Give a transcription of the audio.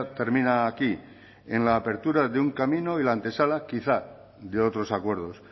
termina aquí en la apertura de un camino y la antesala quizás de otros acuerdos